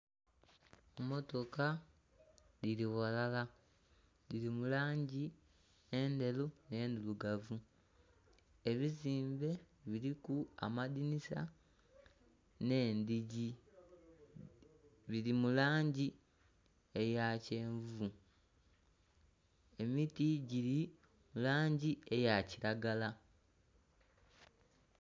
Emmotoka dhili ghalala, dhili mu langi endheru nh'endhirugavu. Ebizimbe biliku amadhinisa nh'endhigi, bili mu langi eya kyenvu. Emiti gili langi eya kiragala.